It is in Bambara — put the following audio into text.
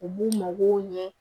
U b'u mago ɲɛ